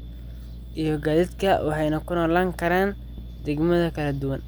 iyo gaadiidka, waxayna ku noolaan karaan deegaanno kala duwan.